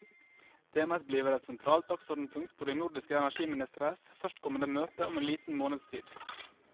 Temaet bliver et centralt dagsordenspunkt på de nordiske energiministres førstkommende møde om en lille måneds tid.